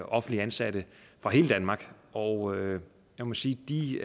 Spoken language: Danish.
offentligt ansatte fra hele danmark og jeg må sige at de